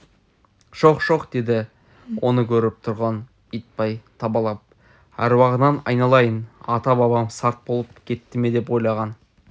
шоқ-шоқ деді оны көріп тұрған итбай табалап әруағыңнан айналайын ата-бабам сарт болып кетті ме деп ойлаған